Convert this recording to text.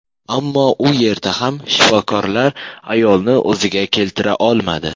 Ammo u yerda ham shifokorlar ayolni o‘ziga keltira olmadi.